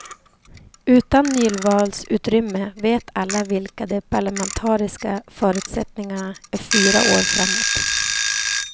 Utan nyvalsutrymme vet alla vilka de parlamentariska förutsättningarna är fyra år framåt.